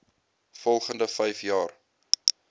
volgende vyf jaar